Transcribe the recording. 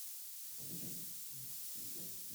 включи я легенда